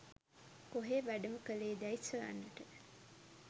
කොහේ වැඩම කළේ දැයි සොයන්නට